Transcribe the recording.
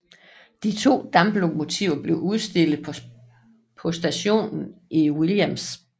De to damplokomotiver blev udstillet på stationen i Williams